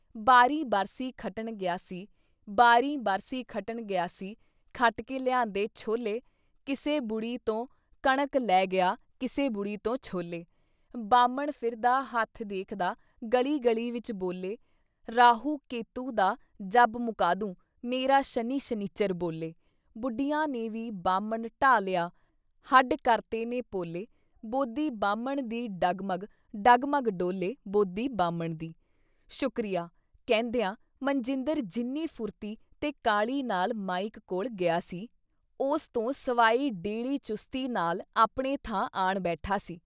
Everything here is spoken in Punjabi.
ਬਾਰੀਂ ਬਰਸੀ ਖੱਟਣ ਗਿਆ ਸੀ, ਬਾਰੀਂ ਬਰਸੀ ਖੱਟਣ ਗਿਆ ਸੀ, ਖੱਟ ਕੇ ਲਿਆਂਦੇ ਛੋਲੇ, ਕਿਸੇ ਬੁੜੀ ਤੋਂ ਕਣਕ ਲੈ ਗਿਆ ਕਿਸੇ ਬੁੜੀ ਤੋਂ ਛੋਲੇ । ਬਾਹਮਣ ਫਿਰਦਾ ਹੱਥ ਦੇਖਦਾ ਗਲੀ-ਗਲੀ ਵਿੱਚ ਬੋਲੇ ਰਾਹੂ ਕੇਤੂ ਦਾ ਜੱਭ ਮਕਾਦੂੰ ਮੇਰਾ ਸ਼ਨੀ ਸ਼ਨਿੱਚਰ ਬੋਲੇ, ਬੁੱਢੀਆਂ ਨੇ ਵੀ ਬਾਹਮਣ ਢਾਹ ਲਿਆ, ਹੱਢ ਕਰਤੇ ਨੇ ਪੋਲੇ, ਬੋਦੀ ਬਾਹਮਣ ਦੀ ਡਗਮਗ, ਡਗਮਗ ਡੋਲੇ, ਬੋਦੀ ਬਾਹਮਣ ਦੀ ।। ਸ਼ੁਕਰੀਆ !” ਕਹਿੰਦਿਆਂ ਮਨਜਿੰਦਰ ਜਿੰਨੀ ਫੁਰਤੀ ਤੇ ਕਾਹਲ਼ੀ ਨਾਲ਼ ਮਾਈਕ ਕੋਲ਼ ਗਿਆ ਸੀ। ਉਸ ਤੋਂ ਸਵਾਈ ਡੇੜ੍ਹੀ ਚੁਸਤੀ ਨਾਲ ਆਪਣੇ ਥਾਂ ਆਣ ਬੈਠਾ ਸੀ।